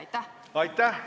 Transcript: Aitäh!